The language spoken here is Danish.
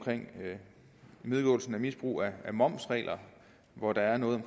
imødegåelse af misbrug af momsregler hvor der er noget